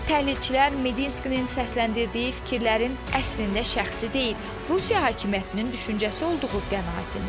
Təhlilçilər Medinskinin səsləndirdiyi fikirlərin əslində şəxsi deyil, Rusiya hakimiyyətinin düşüncəsi olduğu qənaətindədirlər.